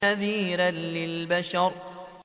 نَذِيرًا لِّلْبَشَرِ